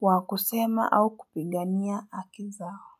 wa kusema au kupigania haki zao.